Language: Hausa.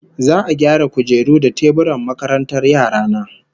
Za'a gyara kujeru da teburan makarantar yara na